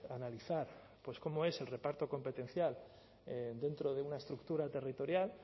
analizar pues cómo es el reparto competencial dentro de una estructura territorial